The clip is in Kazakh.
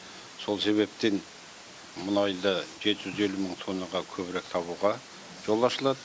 сол себептен мұнайды жеті жүз елу мың тоннаға көбірек табуға жол ашылады